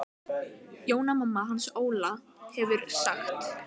Jóna mamma hans Óla hefur sagt.